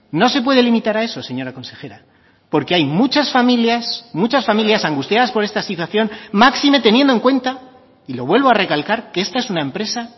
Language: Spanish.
no se puede limitar a eso señora consejera porque hay muchas familias muchas familias angustiadas por esta situación máxime teniendo en cuenta y lo vuelvo a recalcar que esta es una empresa